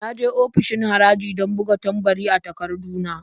Na je ofishin haraji don buga tambari a takardu na.